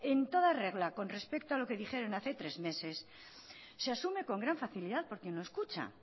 en todo regla con respecto a lo que dijeron hace tres meses se asume con gran facilidad porque no escucha